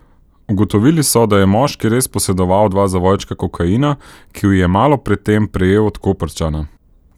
Ugotovili so, da je moški res posedoval dva zavojčka kokaina, ki ju je malo pred tem prejel od Koprčana.